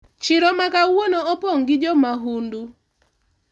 chiro makawuono opong' gi jomahundu